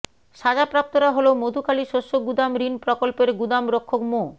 সাজাপ্রাপ্তরা হলো মধুখালী শস্য গুদাম ঋণ প্রকল্প এর গুদাম রক্ষক মো